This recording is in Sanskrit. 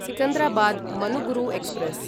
सिकन्दराबाद् मनुगुरु एक्स्प्रेस्